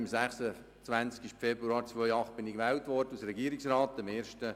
Am 26. Februar 2008 wurde ich als Regierungsrat gewählt.